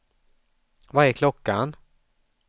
Vad är klockan